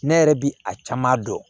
Ne yɛrɛ bi a caman dɔn